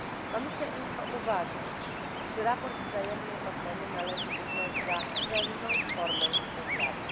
Komisja IMCO uważa, iż sprawozdanie wzajemnej oceny należy uznać za cenną formę współpracy.